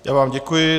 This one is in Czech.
Já vám děkuji.